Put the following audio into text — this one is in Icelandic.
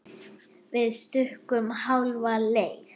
Við stukkum hálfa leið.